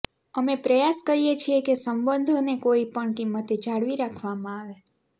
અમે પ્રયાસ કરીએ છીએ કે સંબંધોને કોઇ પણ કિંમતે જાળવી રાખવામાં આવે